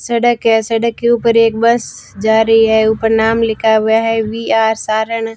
सड़क है सड़क के ऊपर एक बस जा रही है। ऊपर नाम लिखा हुआ है वी आर सारण ।